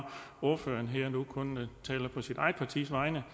ordføreren kun taler på sit eget partis vegne og